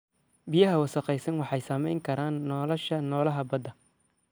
Biyaha wasakhaysan waxay saameyn karaan nolosha noolaha badda.